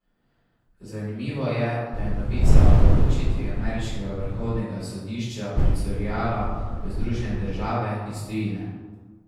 Zanimivo je, da je novica o odločitvi ameriškega vrhovnega sodišča pricurljala v Združene države iz tujine.